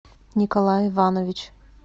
николай иванович